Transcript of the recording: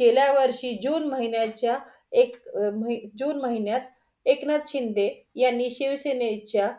गेल्या वर्षी जून महिन्याच्या एक जून महिन्यात एकनाथ शिंदे यांनी शिवसेनेच्या